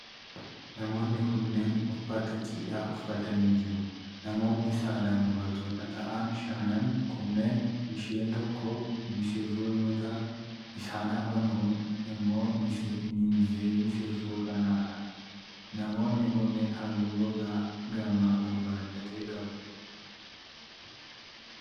Namoonni kunneen, uffata cidhaa uffatanii jiru. Namoonni saalaan dubartoota ta'an shanan kunneen isheen tokko misirroo yoo taatu isaan afan kuun immoo miinzee misirroo kanaa dha. Namoonni kunneen halluu gogaa qaamaa gurraacha ta'e qabu.